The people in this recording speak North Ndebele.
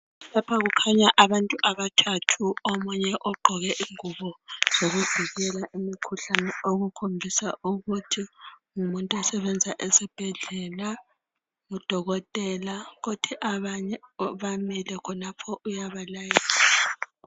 lapha kukhanya abntu abathathu omunye ogqoke ingubo zokuvikela imikhuhlane okukhombisa ukuthi ngumuntu osebenza esibhedlela ngu dokotela abanye bamile khonapho yabalayezela